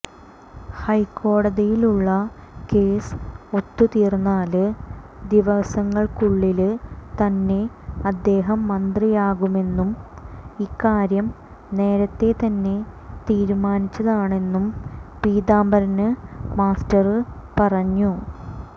ഹൈക്കോടതിയിലുള്ള കേസ് ഒത്തുതീര്ന്നാല് ദിവസങ്ങള്ക്കുള്ളില് തന്നെ അദ്ദേഹം മന്ത്രിയാകുമെന്നും ഇക്കാര്യം നേരത്തെ തന്നെ തീരുമാനിച്ചതാണെന്നും പീതാംബരന് മാസ്റ്റര് പറഞ്ഞു